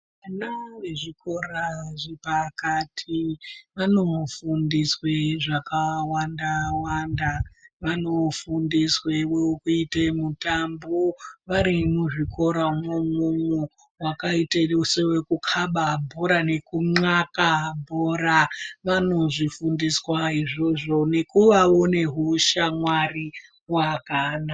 Ana ezvikora zvepakati vanofundiswe zvakawanda wanda, vanofundiswe mukuite mutambo varimuzvikoramwo umwomwo . Zvakaite sewekukaba bhora nekunw'aka bhora vanozvifundiswa izvozvo nekuwawo nehushamwari wakanaka.